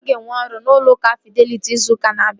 A ga-ewe n'ọrụ n'ụlọ akụ Fideliti izu ụka na-abịa